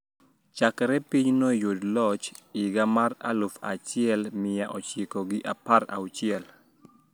Chakre pinyno yud loch higa mar aluf achiel mia ochiko gi pier auchiel